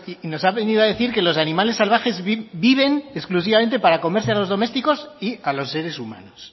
y nos ha venido a decir que los animales salvajes viven exclusivamente para comerse a los domésticos y a los seres humanos